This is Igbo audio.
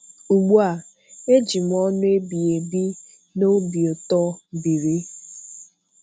Ugbu a, eji m ọṅụ ebighebi na obi ụtọ biri.